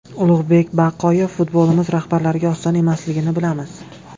Ulug‘bek Baqoyev: Futbolimiz rahbarlariga oson emasligini bilamiz.